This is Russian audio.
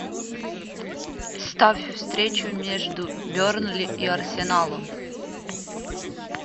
ставь встречу между бернли и арсеналом